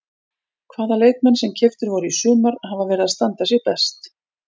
Hvaða leikmenn sem keyptir voru í sumar hafa verið að standa sig best?